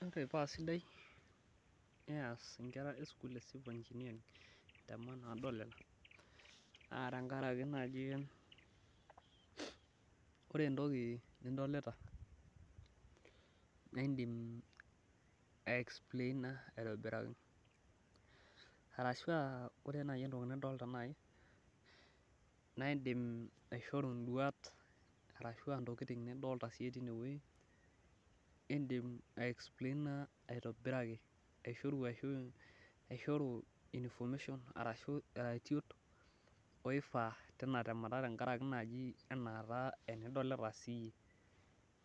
Ore paa sidai teneesi nkera esukul civil engineering, naa tenkaraki naaji ore entoki nidolita, naa indim aexplaina aitobiraki. Arashua ore entoki nidolita naaji naa indim aishoru nduat, arashua ntokiting nidolita siiyie tineweji, indim aexplaina aitobiraki aishoru information oifaa tina temata ena enidolita siiyie